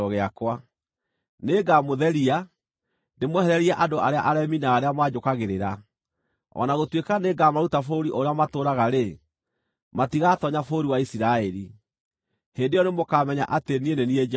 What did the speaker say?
Nĩngamũtheria, ndĩmwehererie andũ arĩa aremi na arĩa manjũkagĩrĩra. O na gũtuĩka nĩngamaruta bũrũri ũrĩa matũũraga-rĩ, matigatoonya bũrũri wa Isiraeli. Hĩndĩ ĩyo nĩmũkamenya atĩ niĩ nĩ niĩ Jehova.